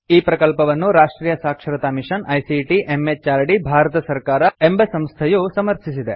ಈ ಪ್ರಕಲ್ಪವನ್ನು ರಾಷ್ಟ್ರಿಯ ಸಾಕ್ಷರತಾ ಮಿಷನ್ ಐಸಿಟಿ ಎಂಎಚಆರ್ಡಿ ಭಾರತ ಸರ್ಕಾರ ಎಂಬ ಸಂಸ್ಥೆಯು ಸಮರ್ಥಿಸಿದೆ